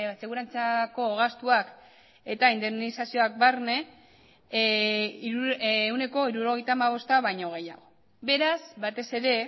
segurantzako gastuak eta indemnizazioak barne ehuneko hirurogeita hamabosta baino gehiago beraz batez ere